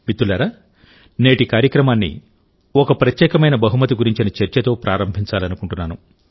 మిత్రులారా నేటి కార్యక్రమాన్ని ఒక ప్రత్యేకమైన బహుమతి గురించిన చర్చతో ప్రారంభించాలనుకుంటున్నాను